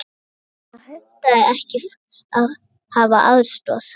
Það hentaði henni ekki að hafa aðstoðarfólk.